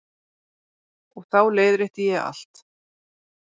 Og þá leiðrétti ég allt.